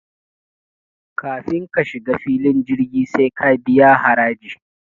kafin ka shiga filin jirgi sai ka biya haraji